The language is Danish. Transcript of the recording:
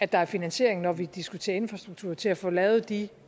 der er finansiering når vi diskuterer infrastruktur til at få lavet de